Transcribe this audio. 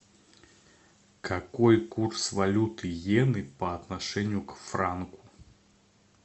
какой курс валюты йены по отношению к франку